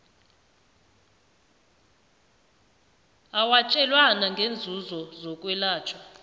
owatjelwana ngeenzuzo zokwelatjhwa